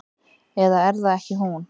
Eða er það ekki hún?